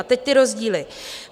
A teď ty rozdíly.